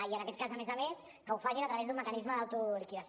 i en aquest cas a més a més que ho facin a través d’un mecanisme d’autoliquidació